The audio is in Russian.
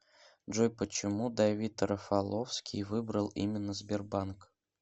джой почему давид рафаловский выбрал именно сбербанк